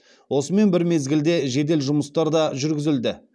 осымен бір мезгілде жедел жұмыстар да жүргізілді